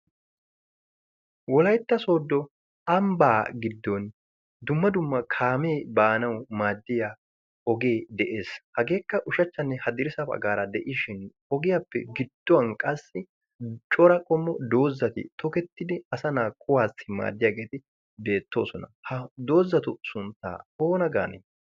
Wolaytta Soddo ambba giddon dumma dumma kaame baanaw maadiya ogee de'ees. hageekka ushachchanne hadirssa baggara de'ishin ogiyappe gidduwan qassi cora qommo doozati tokettid asa kuwassi maaddiyaageeti de'oosona. haa doozatu sunttaoona gaane?